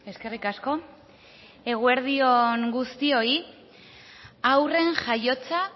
eskerrik asko eguerdi on guztioi haurren jaiotza